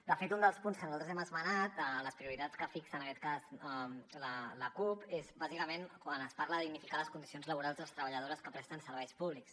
de fet un dels punts que nosaltres hem esmenat de les prioritats que fixa en aquest cas la cup és bàsicament quan es parla de dignificar les condicions laborals de les treballadores que presten serveis públics